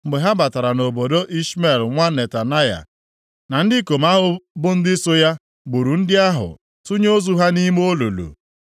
Mgbe ha batara nʼobodo, Ishmel nwa Netanaya na ndị ikom ahụ bụ ndị so ya, gburu ndị ahụ tụnye ozu ha nʼime olulu.